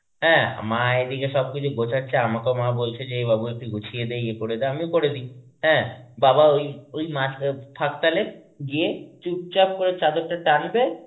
হ্যাঁ, মা এদিকে সবকিছু গোচাছে আর আমাকেও মা বলছে যে বাবু একটু গুছিয়ে দে ইয়ে করে দে, আমিও করে দি. হ্যাঁ, বাবা ওই ফাকতালে গিয়ে চুপচাপ করে চাদরটা টানবে